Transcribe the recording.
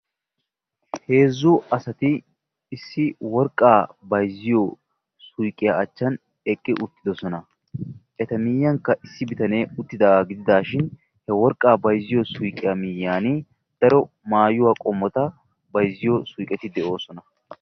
heezzu asati issi worqqaa bayzziyo suyqqiya achchan eqqi uttidoosona; eta miyiyyankka issi bitanee uttidaaga gidishin he worqqaa bayzziyo suyqqiyaa miyiyyaan daro maayuwa qommota bayzziyo suyqqeti de'oosona